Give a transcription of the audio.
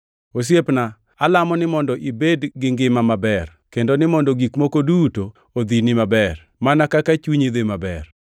Osiepna, alamo ni mondo ibed gi ngima maber, kendo ni mondo gik moko duto odhini maber, mana kaka chunyi dhi maber.